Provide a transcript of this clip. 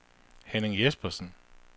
Henning Jespersen